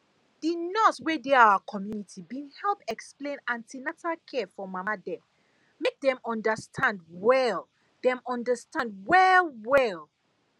the nurse wey dey our community been help explain an ten atal care to mama dem make dem understand well dem understand well well